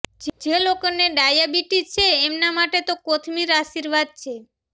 જે લોકો ને ડાયા બીટીશ છે એમના માટે તો કોથમીર આશીર્વાદ છે